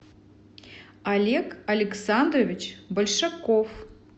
олег александрович большаков